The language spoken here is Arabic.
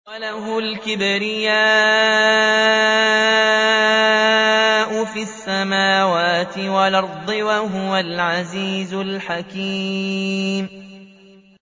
وَلَهُ الْكِبْرِيَاءُ فِي السَّمَاوَاتِ وَالْأَرْضِ ۖ وَهُوَ الْعَزِيزُ الْحَكِيمُ